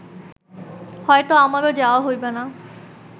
হয়ত আমারও যাওয়া হইবে না